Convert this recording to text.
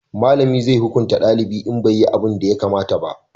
malami zai hukunta dalibi in bai yi abunda ya kamata ba